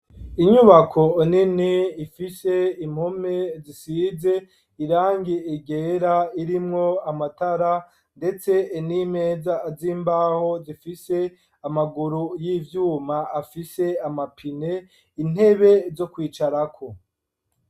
Inyubako nini ifise impome zisize irangi ryera irimwo amatara ndetse n'imeza z'imbaho zifise amaguru y'ibyuma afise amapine intebe zo kwicarako.